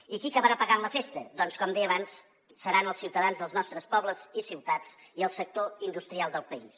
i qui acabarà pagant la festa doncs com deia abans seran els ciutadans dels nostres pobles i ciutats i el sector industrial del país